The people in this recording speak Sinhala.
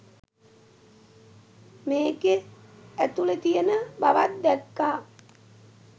මේක ඇතුළෙ තියෙන බවක් දැක්කා.